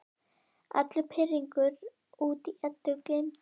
Allur pirringur út í Eddu gleymdur.